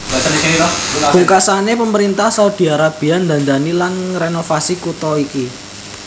Pungkasané pemerintah Saudi Arabia ndandani lan ngrenovasi kutha iki